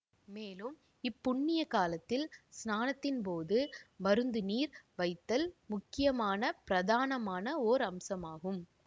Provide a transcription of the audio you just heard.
மேலும் இப்புண்ணிய காலத்தில் ஸ்நானத்தின் போது மருத்துநீர் வைத்தல் முக்கியமான பிரதானமான ஓர் அம்சமாகும்